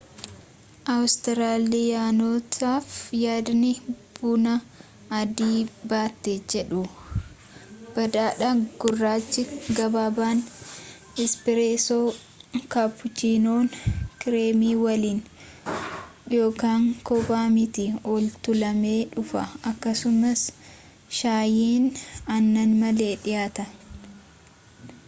awustiraaliyaanotaaf yaadni buna ‘adii battee’ jedhu baadaadha. gurraachi gabaabaan ‘ispireesoo’ kaappuchiinoon kireemii waliin kobbaa miti ol-tuulamee dhufa akkasumas shaayiin aannan malee dhiyaata